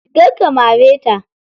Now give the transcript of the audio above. Kar ka mare ta.